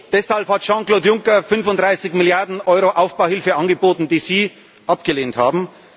Deshalb hat Jean Claude Juncker 35 Milliarden Euro Aufbauhilfe angeboten, die Sie abgelehnt haben.